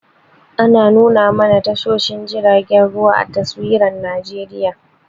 Ana nuna mana tashoshin jiragen ruwa a taswirar Najeriya.